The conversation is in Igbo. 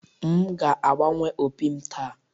M ga-agbanwe opi m taa